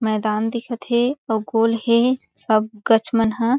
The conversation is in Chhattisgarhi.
मैदान दिखत हे उह गोल हे सब गच मन हा--